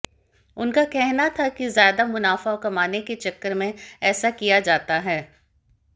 उनका कहना था कि ज्यादा मुनाफा कमाने के चक्कर में ऐसा किया जाता है